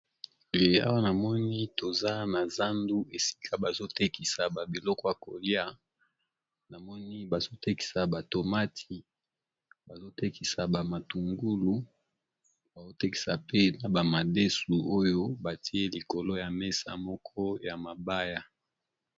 Liawa na moni toza na zandu esika bazo tekisa ba biloko ya kolia namoni bazo tekisa ba tomati, bazo tekisa ba matungulu, bazo tekisa pe na ba madesu, oyo batie likolo ya mesa moko ya mabaya.